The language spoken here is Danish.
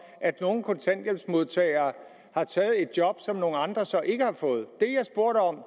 at nogle kontanthjælpsmodtagere har taget et job som nogle andre så ikke har fået